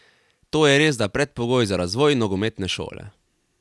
To je resda predpogoj za razvoj nogometne šole.